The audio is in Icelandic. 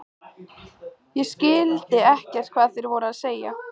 Ég skildi ekkert hvað þeir voru að segja.